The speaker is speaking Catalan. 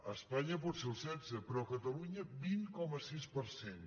a espanya pot ser el setze però a catalunya vint coma sis per cent